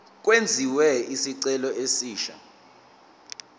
kwenziwe isicelo esisha